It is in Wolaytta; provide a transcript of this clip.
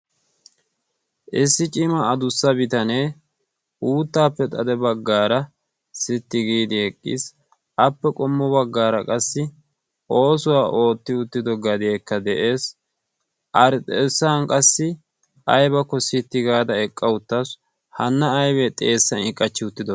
issi cimaa adussa bitanee uuttaappe xade baggaara sitti giidi eqqiis appe qommo baggaara qassi oosuwaa ootti uttido gadeekka de'ees ari xeessan qassi aybakko sitti gaada eqqa uttassu hanna aybee xeessa i qachchi uttido